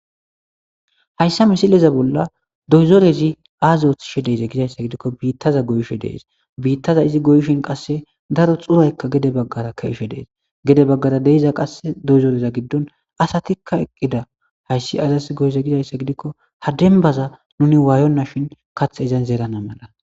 Hayssa misileza bolla doyzorezi aazoothishe deize gizayssa gidikko biittaza goyshe dees biittaza izi goyshin qasse daro xuraykka gede baggara keishe dees gede baggara deiza qasse doyzoreza giddon asatikka eqqida hayssi azas goyze gizayssa gidikko hadenbaza nuni waayonna shin kath ezen zeerana mala.